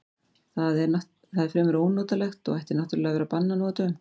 Það er fremur ónotalegt og ætti náttúrlega að vera bannað nú á dögum.